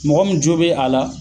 Mɔgɔ mun jo be a la